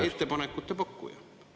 … ettepanekute pakkuja.